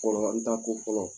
Kɔrɔ , n taa ko fɔlɔ.